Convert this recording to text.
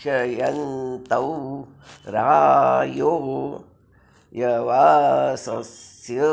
क्षय॑न्तौ रा॒यो यव॑सस्य॒